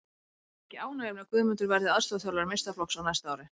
Það er mikið ánægjuefni að Guðmundur verði aðstoðarþjálfari meistaraflokks á næsta ári.